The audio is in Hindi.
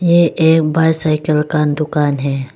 ये एक बाईसाइकिल का दुकान है।